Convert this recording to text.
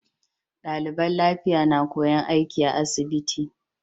Daliban lafiya na koyan aiki a asibiti